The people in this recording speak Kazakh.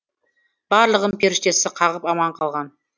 барлығын періштесі қағып аман қалған